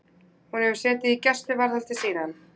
Hefur hún setið í gæsluvarðhaldi síðan